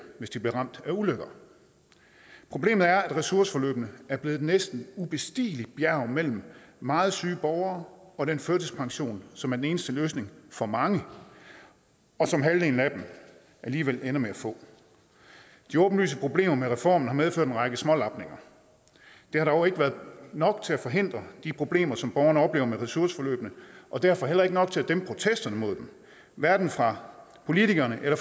hvis de blev ramt af ulykker problemet er at ressourceforløbene er blevet et næsten ubestigeligt bjerg mellem meget syge borgere og den førtidspension som er den eneste løsning for mange og som halvdelen af dem alligevel ender med at få de åbenlyse problemer med reformen har medført en række små lapninger det har dog ikke været nok til at forhindre de problemer som borgerne oplever med ressourceforløbene og derfor heller ikke nok til at dæmpe protesterne mod dem hverken fra politikerne eller